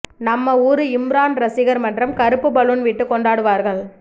நம்ம ஊரு இம்ரான் ரசிகர் மன்றம் கருப்பு பலூன் விட்டு கொண்டாடுவார்கள்